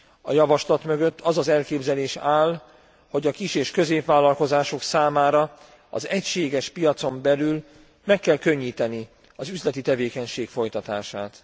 A javaslat mögött az az elképzelés áll, hogy a kis és középvállalkozások számára az egységes piacon belül meg kell könnyíteni az üzleti tevékenység folytatását.